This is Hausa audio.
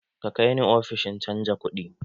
.Ka kai ni ofishin canja kudi!